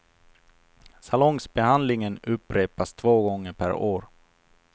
Salongsbehandlingen upprepas två gånger per år.